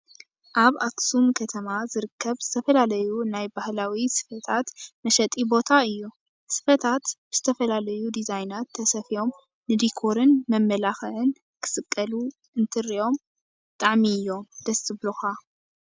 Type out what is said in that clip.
ኣብ ኣክሱም ከተማ ዝርከብ ዝተፈላለዩ ናይ ባህላዊ ስፈታት መሸጢ ቦታ እዩ። ስፈታት ብዝተፈላለዩ ዲዛይናት ተሰፊዮም ንዲኮርን መመላክዕን ክስቀሉ እንትርኦም ብጣዕሚ እዮም ደስ ዝብሉካ።